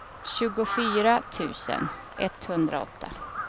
tjugofyra tusen etthundraåtta